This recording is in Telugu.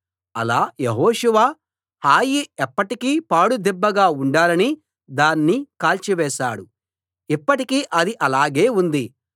అలా యెహోషువ హాయి ఎప్పటికీ పాడు దిబ్బగా ఉండాలని దాన్ని కాల్చివేశాడు ఇప్పటికీ అది అలాగే ఉంది